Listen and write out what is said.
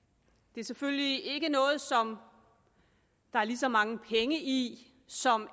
det er selvfølgelig ikke noget som der er lige så mange penge i som